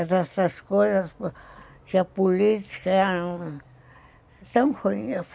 É dessas coisas que a política era tão ruim.